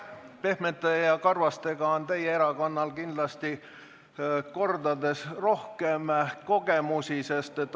"Pehmete ja karvastega" on teie erakonnal kindlasti kordades rohkem kogemusi.